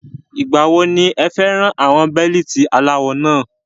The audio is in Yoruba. Ìgbà wo ni ẹ fẹ ra àwọn Bẹ́líìtì aláwọ náà?